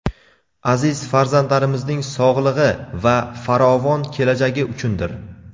aziz farzandlarimizning sog‘lig‘i va farovon kelajagi uchundir.